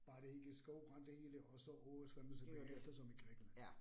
Bare det ikke skovbrand det hele og så oversvømmelse bagefter som i Grækenland